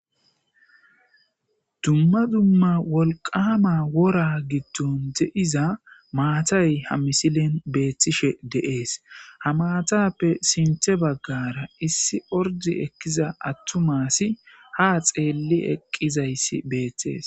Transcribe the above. dumma dumma wolqama wora giddon de7iza maatay ha misilen beethtishe deees ha maatappe sinthe baggara issi ordi ekkiza attumasi ha xeelli eqqizayssi beethtees